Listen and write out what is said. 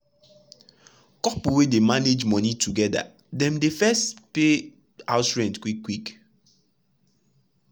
couple wey dey manage money together dem dey first pay house expenses quick quick.